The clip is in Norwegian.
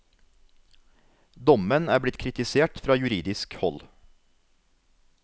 Dommen er blitt kritisert fra juridisk hold.